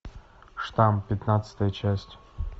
штамм пятнадцатая часть